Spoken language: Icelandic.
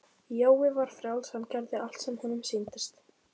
Jói var frjáls, hann gerði allt sem honum sýndist.